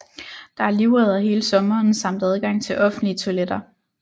Der er livredder hele sommeren samt adgang til offentlige toiletter